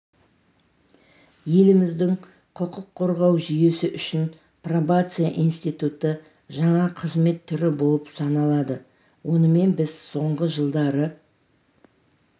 еліміздің құқық қорғау жүйесі үшін пробация институты жаңа қызмет түрі болып саналады онымен біз соңғы жылдары